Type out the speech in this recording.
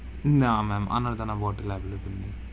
না ma'am আনারদানা bottle available নেই.